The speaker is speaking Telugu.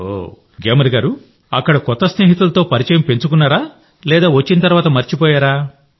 అక్కడ పరిచయమైన స్నేహితులతో పరిచయం పెంచుకున్నారా లేదా వచ్చిన తర్వాత మరిచిపోయారా